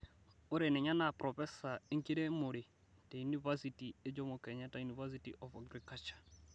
Ore ninye naa propesa enkiremore te unipersity e jomo kenyatta university of agriculture.